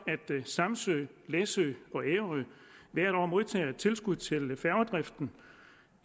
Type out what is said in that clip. samsø læsø og ærø hvert år modtager tilskud til færgedriften